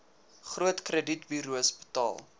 groot kredietburos betaal